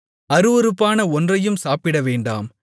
அருவருப்பான ஒன்றையும் சாப்பிடவேண்டாம்